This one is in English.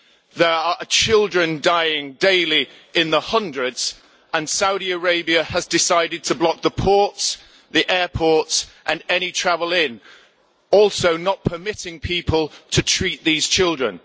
There are children dying daily in their hundreds and Saudi Arabia has decided to block the ports, the airports and any travel in, also not permitting people to treat those children.